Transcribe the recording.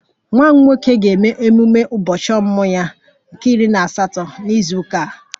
Nwa m nwoke ga-eme ememe ụbọchị ọmụmụ ya nke iri na na izu ụka a